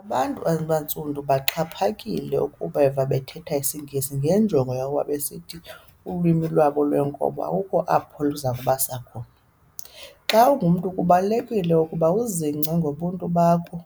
Abantu abaNtsundu kuxhaphakile ukubeva bethetha isiNgesi ngenjongo yokuba besithi ulwimi lwabo lwenkobe akukho apho luzakubasa khona. Xa ungumntu kubalulekile ukuba uzingce ngobuntu bakho